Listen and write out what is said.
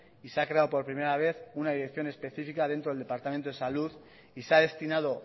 y se ha creado por primera vez una dirección específica dentro del departamento de salud y se ha destinado